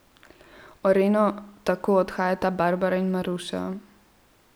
V areno tako odhajata Barbara in Maruša.